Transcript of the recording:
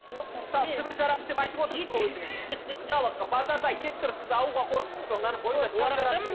жоқ мысалы сібір жарасы деп айтып отырсыз ғой өзіңіз мысалы базарда ет тұр сіз алуға қорықтыңыз ба